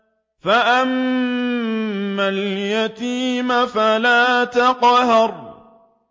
فَأَمَّا الْيَتِيمَ فَلَا تَقْهَرْ